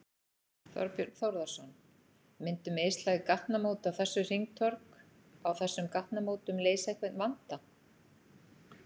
Þorbjörn Þórðarson: Myndu mislæg gatnamót á þessu hringtorg, á þessum gatnamótum leysa einhvern vanda?